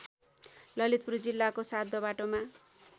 ललितपुर जिल्लाको सातदोबाटोमा